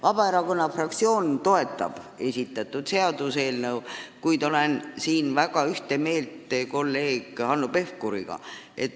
Vabaerakonna fraktsioon toetab esitatud seaduseelnõu, kuid olen siin väga ühte meelt kolleeg Hanno Pevkuriga.